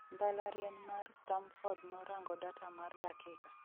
mbalariany mar stamford norango data mar dakika